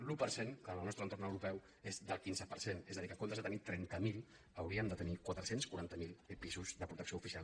l’un per cent que en el nostre entorn europeu és del quinze per cent és a dir que en comptes de tenir·ne trenta miler hauríem de tenir quatre cents i quaranta miler pisos de protecció oficial